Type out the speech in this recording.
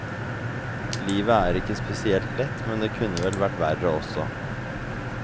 Livet er ikke spesielt lett, men det kunne vel vært verre også.